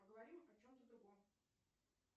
поговорим о чем то другом